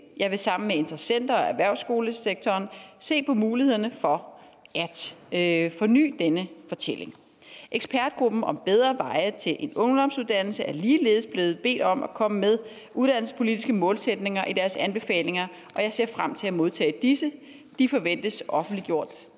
jeg vil sammen med interessenter og erhvervsskolesektoren se på mulighederne for at forny denne fortælling ekspertgruppen om bedre veje til en ungdomsuddannelse er ligeledes blevet bedt om at komme med uddannelsespolitiske målsætninger i deres anbefalinger og jeg ser frem til at modtage disse de forventes offentliggjort